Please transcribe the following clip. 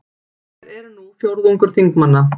Þær eru nú fjórðungur þingmanna